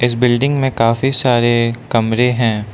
इस बिल्डिंग में काफी सारे कमरें है।